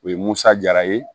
O ye musa jara ye